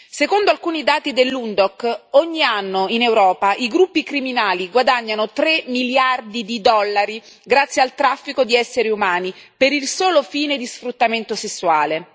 Secondo alcuni dati dell'UNODC ogni anno, in Europa, i gruppi criminali guadagnano 3 miliardi di dollari grazie al traffico di esseri umani per il solo fine di sfruttamento sessuale.